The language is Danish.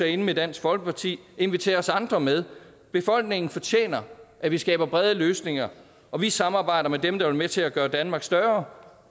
inde med dansk folkeparti inviter os andre med befolkningen fortjener at vi skaber brede løsninger og vi samarbejder med dem der vil være med til at gøre danmark større